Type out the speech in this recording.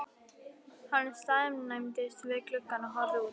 Hann staðnæmdist við gluggann og horfði út.